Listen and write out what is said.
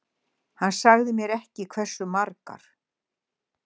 Hann sagði mér ekki hversu margar.